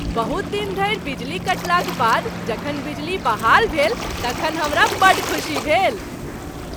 बहुत दिन धरि बिजली कटलाक बाद जखन बिजली बहाल भेल तखन हमरा बड्ड खुशी भेल।।